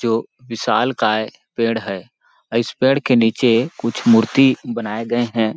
जो विशालकाय पेड़ है और इस पेड़ के निचे कुछ मूर्ति बनाये गए हैं।